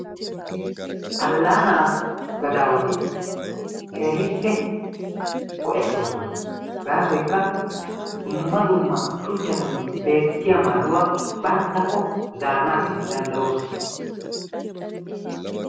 alaanaa gadaawati keehippe go'etoososna, gaasoykka dumma dumma shuchchatun beetiya maaduwa bantakko zaarana danddayoosona.